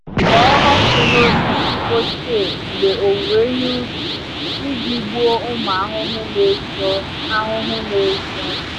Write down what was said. Kpọọ ọkụ n’osisi ochie mgbe owuwe ihe ubi iji gbuo ụmụ ahụhụ na-ezo. ahụhụ na-ezo.